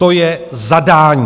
To je zadání.